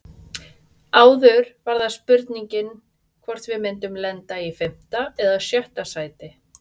Áður var það spurningin hvort við myndum enda í fimmta eða sjötta sæti.